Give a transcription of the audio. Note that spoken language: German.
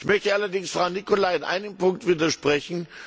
Ich möchte allerdings Frau Nicolai in einem Punkt widersprechen.